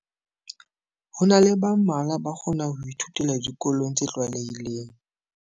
Ho na le ba mmalwa ba kgona ho ithutela dikolong tse tlwaelehileng.